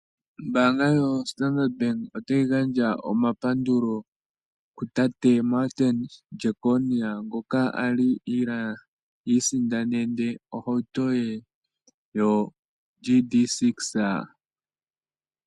Ombanga yoStandard bank ota yi gandja omapandulo kutate Martin Jeckonia ngoka a li iisindanene ohauto ye yoGT6.